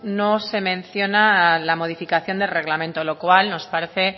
no se menciona la modificación del reglamento lo cual nos parece